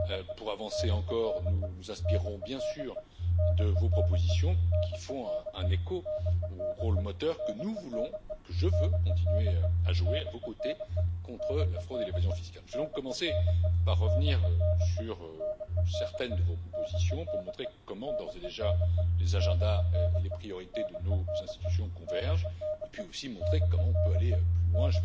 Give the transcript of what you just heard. Pour avancer encore, nous nous inspirons, bien sûr, de vos propositions, qui font un écho au rôle moteur que nous voulons, que je veux continuer à jouer à vos côtés contre la fraude et l'évasion fiscales. Je vais donc commencer par revenir sur certaines de vos propositions pour montrer comment d'ores et déjà les agendas et les priorités de nos institutions convergent, et puis aussi montrer comment nous pouvons aller plus loin.